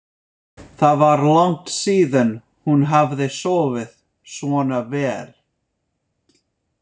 Það var langt síðan hún hafði sofið svona vel.